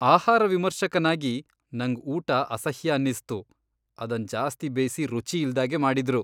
ಆಹಾರ ವಿಮರ್ಶಕನಾಗಿ ನಂಗ್, ಊಟ ಅಸಹ್ಯ ಅನ್ನಿಸ್ತು ಅದನ್ ಜಾಸ್ತಿ ಬೇಯ್ಸಿ ರುಚಿ ಇಲ್ದಾಗೆ ಮಾಡಿದ್ರು.